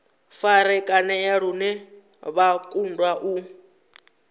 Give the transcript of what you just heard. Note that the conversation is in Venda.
farakanea lune vha kundwa u